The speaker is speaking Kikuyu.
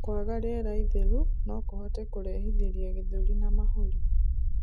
Kwaga rĩera itheru nokuhote kurehithirĩa gĩthũri na mahũri